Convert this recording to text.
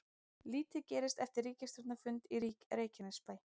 Lítið gerst eftir ríkisstjórnarfund í Reykjanesbæ